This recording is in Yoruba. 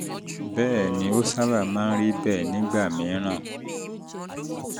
bẹ́ẹ̀ ni ó sábà máa ń rí bẹ́ẹ̀ nígbà mìíràn